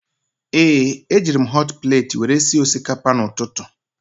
Ee, ejiri m họt pleeti were sie osikapa n'ụtụtụ